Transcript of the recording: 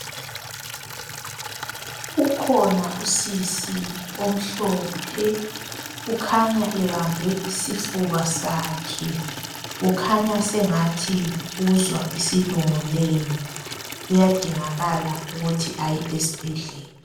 Ukhona usisi omhlophe. Ukhanya ebambe isifuba sakhe. Kukhanya sengathi uzwa isilungulela. Kuyadingakala ukuthi aye esbhedlela.